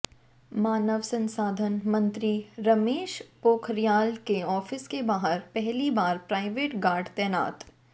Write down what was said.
मानव संसाधन मंत्री रमेश पोखरियाल के ऑफिस के बाहर पहली बार प्राइवेट गार्ड तैनात